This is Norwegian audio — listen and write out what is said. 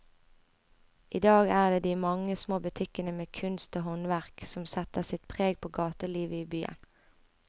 I dag er det de mange små butikkene med kunst og håndverk som setter sitt preg på gatelivet i byen.